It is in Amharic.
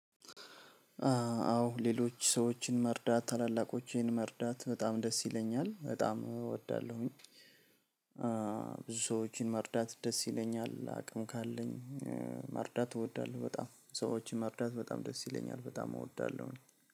አዎ ሌሎች ሰዎችን መርዳት ታላላቆችን መርዳት በጣም ደስ ይለኛል በጣም እወዳለሁኝ። ብዙ ሰዎችን መርዳት ደስ ይለኛል አቅም ካለኝ። መርዳት እወዳለሁ በጣም ሰዎችን መርዳት በጣም ደስ ይለኛል በጣም እወዳለሁኝ ነው